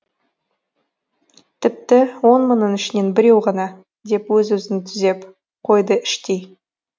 тіпті он мыңның ішінен біреу ғана деп өз өзін түзеп қойды іштей